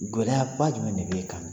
Gɔlɛya ba jumɛn de b'e kan?